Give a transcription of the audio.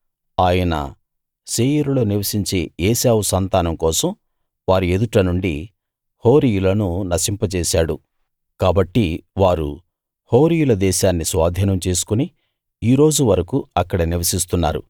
ఆయన శేయీరులో నివసించే ఏశావు సంతానం కోసం వారి ఎదుట నుండి హోరీయులను నశింపజేశాడు కాబట్టి వారు హోరీయుల దేశాన్ని స్వాధీనం చేసుకుని ఈ రోజు వరకూ అక్కడ నివసిస్తున్నారు